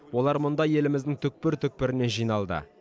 олар мұнда еліміздің түкпір түкпірінен жиналды